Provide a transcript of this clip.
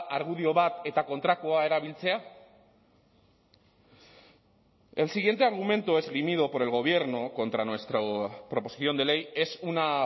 argudio bat eta kontrakoa erabiltzea el siguiente argumento esgrimido por el gobierno contra nuestra proposición de ley es una